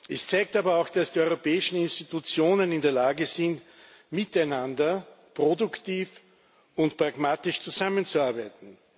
Es zeigt aber auch, dass die europäischen Institutionen in der Lage sind, miteinander produktiv und pragmatisch zusammenzuarbeiten.